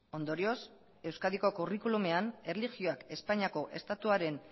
ondorioz euskadiko curriculumean erlijioak espainiako estatuaren